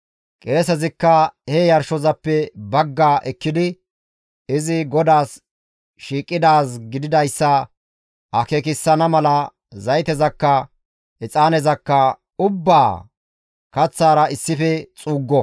Qeesezikka he yarshozappe bagga ekkidi izi GODAAS shiiqidaaz gididayssa akeekissana mala zaytezakka, exaanezakka ubbaa kaththara issife xuuggo.